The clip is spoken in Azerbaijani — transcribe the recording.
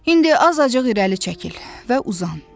İndi azacıq irəli çəkil və uzan.